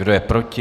Kdo je proti?